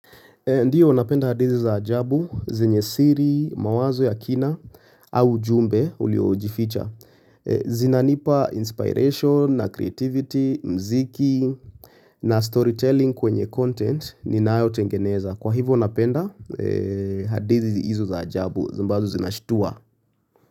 Ndiyo unapenda hadi hizi za ajabu, zenye siri, mawazo ya kina, au ujumbe uliojificha. Zinanipa inspiration, na creativity, mziki, na storytelling kwenye content ninayotengeneza. Kwa hivyo napenda hadithi hizo za ajabu, ambazo zinashtua.